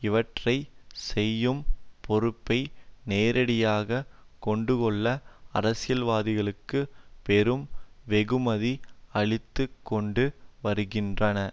இவற்றை செய்யும் பொறுப்பை நேரடியாக கொண்டுள்ள அரசியல்வாதிகளுக்கு பெரும் வெகுமதி அளித்து கொண்டு வருகின்றன